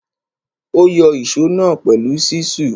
Ó yọ ìsó náà pẹ̀lú ṣísù.